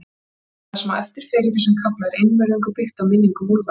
Það, sem á eftir fer í þessum kafla, er einvörðungu byggt á minningum Úlfars